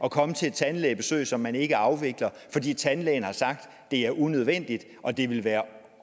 at komme til et tandlægebesøg som man altså ikke afvikler fordi tandlægen har sagt at det er unødvendigt og at det ville være